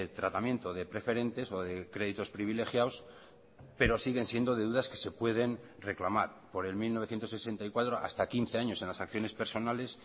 tratamiento de preferentes o de créditos privilegiados pero siguen siendo deudas que se pueden reclamar por el mil novecientos sesenta y cuatro hasta quince años en las acciones personales